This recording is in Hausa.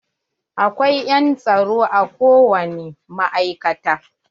Akwai yan tsaro a ko wani ma'aikata.